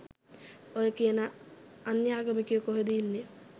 ඔය කියන අන්‍යාගමිකයෝ කොහෙද ඉන්නේ